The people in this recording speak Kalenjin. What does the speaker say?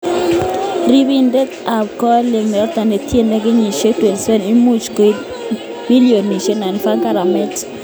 ripindet ab golit noto netindk kenyisiek 27 imuch koit milionisiek �99 garamet.